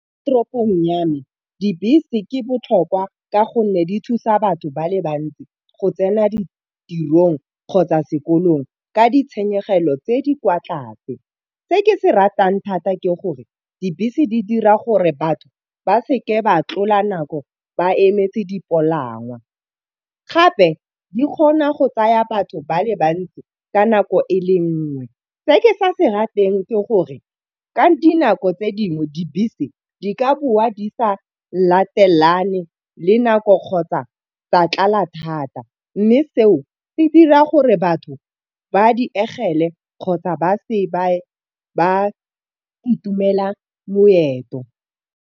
Toropong ya me dibese ke botlhokwa ka gonne di thusa batho ba le bantsi go tsena ditirong kgotsa sekolong ka ditshenyegelo tse di kwa tlase. Se ke se ratang thata ke gore dibese di dira gore batho ba seke ba tlola nako ba emetse dipalangwa. Gape di kgona go tsaya batho ba le bantsi ka nako e le nngwe. Se ke sa se rateng ke gore ka dinako tse dingwe dibese di ka boa di sa latelane le nako kgotsa tsa tlala thata, mme seo se dira gore batho ba di diegele kgotsa ba se ba e ba itumela leoto.